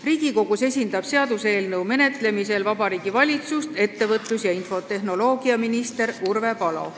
Riigikogus esindab seaduseelnõu menetlemisel Vabariigi Valitsust ettevõtlus- ja infotehnoloogiaminister Urve Palo.